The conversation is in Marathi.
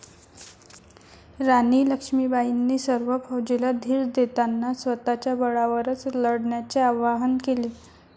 राणी लक्ष्मीबाईंनी सर्व फौजेला धीर देताना स्वतःच्या बळावरच लढण्याचे आवाहन केले.